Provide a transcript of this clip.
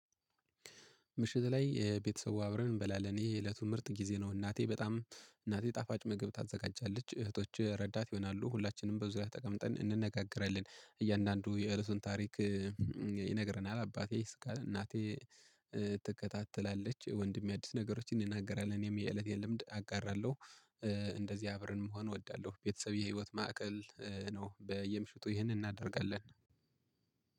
ምሽት ላይ ቤተሰቡ አብረን እንበላለን ይሄ የእለቱ ምርጥ ጊዜ ነው። እናቴ በጣም እናቴ ጣፋጭ ምግብ ታዘጋጃለች እህቶች ረዳት ይሆናሉ ሁላችንም በዙሪያው ተቀምጠን እንነጋገረለን እያንዳንዱ የእለቱን ታሪክ። ይነግረናል አባቴ ይስቃል እናቴ ትከታተላለች። ወንድሜ አዲስ ነገሮችን እንናገራለን እኔም የእለቴን ልምድ አጋራለሁ። እንደዚህ አብረን መሆን እወዳለሁ ቤተሰብ የህይወት ማዕከል ነው። በየምሽቱ ይህንን እናደርጋለን።